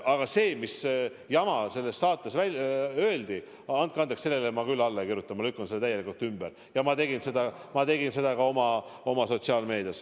Aga sellele andke andeks jamale, mis selles saates öeldi, ma küll alla ei kirjuta, ma lükkan selle täielikult ümber ja ma tegin seda ka sotsiaalmeedias.